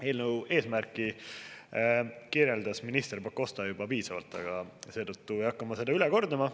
Eelnõu eesmärki kirjeldas minister Pakosta juba piisavalt, seetõttu ei hakka ma seda üle kordama.